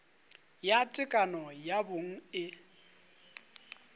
ya tekano ya bong e